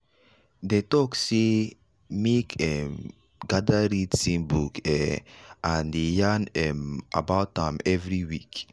dey talk sey make um gather read same book um and dey yarn um about am every week.